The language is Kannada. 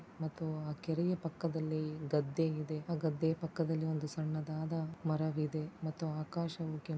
ಮತ್ತು ಆ ಕೆರೆಯ ಪಕ್ಕದಲ್ಲಿ ಗದ್ದೆ ಇದೆ ಆ ಗದ್ದೆ ಪಕ್ಕದಲ್ಲಿ ಒಂದು ಸಣ್ಣದಾದ ಮರವಿದೆ ಮತ್ತು ಆಕಾಶವು ಕೆಂಪು--